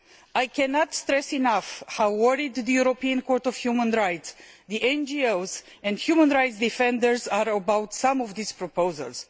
I cannot stress enough how worried the European Court of Human Rights, the NGOs and human rights defenders are about some of these proposals.